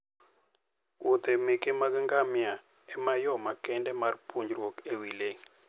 wuodhe meke ngamia ema yo makende mar puonjruok e wi le.